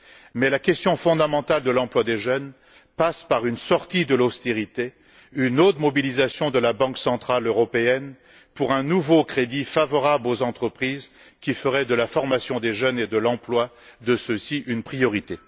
Mais la question fondamentale de l'emploi des jeunes passe par une sortie de l'austérité et une haute mobilisation de la Banque centrale européenne pour un nouveau crédit favorable aux entreprises qui feraient de la formation des jeunes et de l'emploi de ceux ci une priorité.